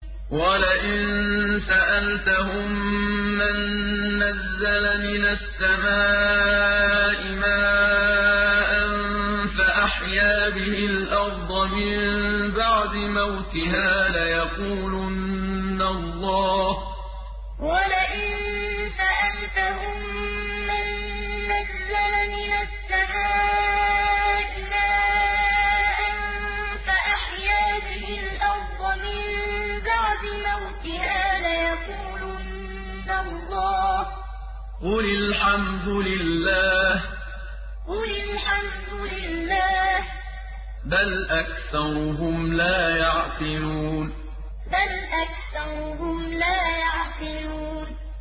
وَلَئِن سَأَلْتَهُم مَّن نَّزَّلَ مِنَ السَّمَاءِ مَاءً فَأَحْيَا بِهِ الْأَرْضَ مِن بَعْدِ مَوْتِهَا لَيَقُولُنَّ اللَّهُ ۚ قُلِ الْحَمْدُ لِلَّهِ ۚ بَلْ أَكْثَرُهُمْ لَا يَعْقِلُونَ وَلَئِن سَأَلْتَهُم مَّن نَّزَّلَ مِنَ السَّمَاءِ مَاءً فَأَحْيَا بِهِ الْأَرْضَ مِن بَعْدِ مَوْتِهَا لَيَقُولُنَّ اللَّهُ ۚ قُلِ الْحَمْدُ لِلَّهِ ۚ بَلْ أَكْثَرُهُمْ لَا يَعْقِلُونَ